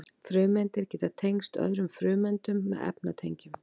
frumeindir geta tengst öðrum frumeindum með efnatengjum